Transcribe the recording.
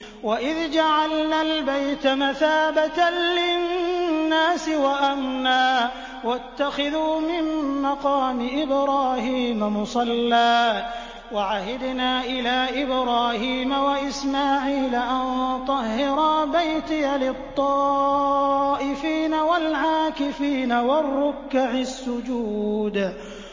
وَإِذْ جَعَلْنَا الْبَيْتَ مَثَابَةً لِّلنَّاسِ وَأَمْنًا وَاتَّخِذُوا مِن مَّقَامِ إِبْرَاهِيمَ مُصَلًّى ۖ وَعَهِدْنَا إِلَىٰ إِبْرَاهِيمَ وَإِسْمَاعِيلَ أَن طَهِّرَا بَيْتِيَ لِلطَّائِفِينَ وَالْعَاكِفِينَ وَالرُّكَّعِ السُّجُودِ